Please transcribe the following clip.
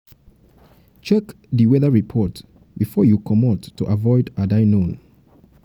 check di weather report before you comot to avoid "had i known"